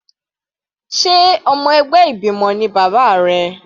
Sé ọmọ ẹgbẹ́ ìgbìmọ̀ ni bàbá rẹ?